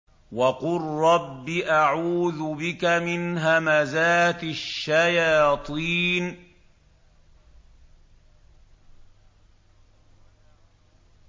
وَقُل رَّبِّ أَعُوذُ بِكَ مِنْ هَمَزَاتِ الشَّيَاطِينِ